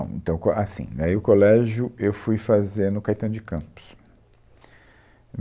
Então, qual é, assim, dai o colégio eu fui fazer no Caetano de Campos.